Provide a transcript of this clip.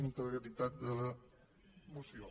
integritat de la moció